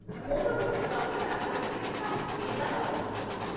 ମୋର ଗୋଟେ doctor appointment ପାଇଁ ଯିବାର ଅଛି।